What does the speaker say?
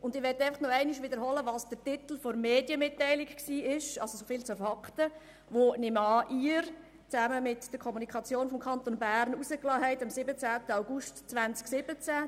Ich möchte noch einmal wiederholen, wie der Titel der Medienmitteilung lautete – so viel zu den Fakten –, von dem ich annehme, dass Sie, Herr Regierungsrat, diesen zusammen mit der Kommunikationsabteilung des Kantons Bern am 17. 08. 2017 herausgaben.